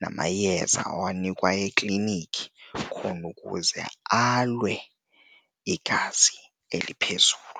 namayeza awayinikwa eklinikhi khona ukuze alwe igazi eliphezulu.